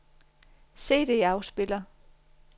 CD-afspiller